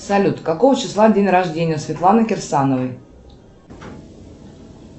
салют какого числа день рождения светланы кирсановой